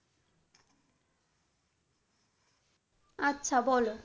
আচ্ছা বল।